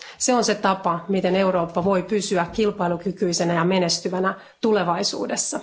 Se on se tapa, miten Eurooppa voi pysyä kilpailukykyisenä ja menestyvänä tulevaisuudessa.